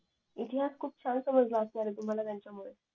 इतिहास खूप छान समजला असणारे तुम्हाला त्यांच्यामुळे